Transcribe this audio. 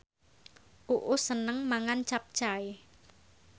Uus seneng mangan capcay